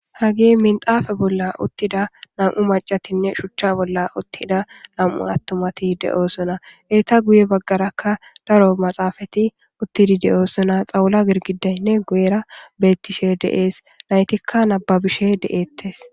hage minxaafe bolla uttida nam7u macatinne shuchcha bolla uttida lam7u attumati de7oosona heyta guye baggarakka daro maxaafati uttidi de7oosona xawula girgidaynne guera bettishe deees naytikka nababishe de7ettes